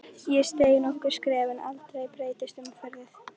Ég steig nokkur skref en aldrei breyttist umhverfið.